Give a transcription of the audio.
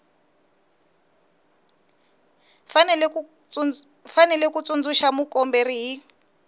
fanele ku tsundzuxa mukomberi hi